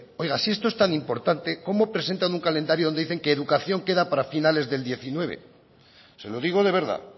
oiga si esto es tan importante cómo presentan un calendario donde dicen que educación queda para finales del dos mil diecinueve se lo digo de verdad